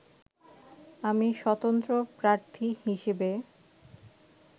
আমি স্বতন্ত্র প্রার্থী হিসেবে